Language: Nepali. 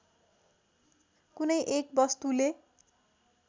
कुनै एक वस्तुले